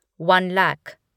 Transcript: one lakh